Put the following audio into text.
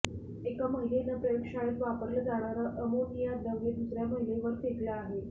एका महिलेनं प्रयोगशाळेत वापरलं जाणारं अमोनिया द्रव दुसऱ्या महिलेवर फेकलं आहे